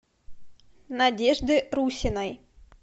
надежды русиной